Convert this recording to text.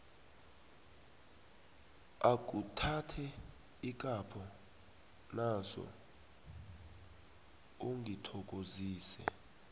akhuthathe ikapho naso ungithokozise